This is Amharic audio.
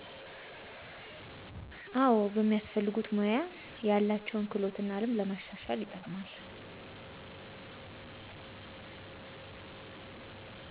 አዎ፦ በሚፈልጉት ሙያ ያላቸውን ክህሎት እና ልምድ ለማሻሻል ይጠቀማል።